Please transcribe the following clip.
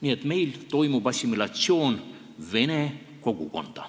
Nii et meil toimub assimilatsioon vene kogukonda.